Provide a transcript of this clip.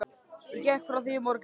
Ég gekk frá því í morgun.